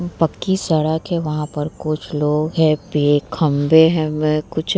पक्की सड़क है | वहाँ पर कुछ लोग हैं | पेड़ खम्बे हैं म म कुछ --